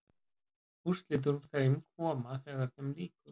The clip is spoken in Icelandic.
Úrslit úr þeim koma þegar þeim lýkur.